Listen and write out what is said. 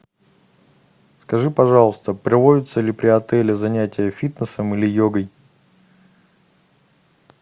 скажи пожалуйста проводятся ли при отеле занятия фитнесом или йогой